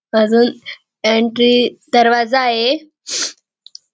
अजून एन्ट्री दरवाजा ये.